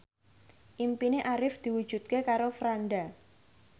impine Arif diwujudke karo Franda